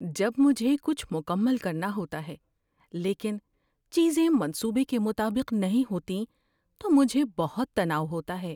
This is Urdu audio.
جب مجھے کچھ مکمل کرنا ہوتا ہے لیکن چیزیں منصوبے کے مطابق نہیں ہوتیں تو مجھے بہت تناؤ ہوتا ہے۔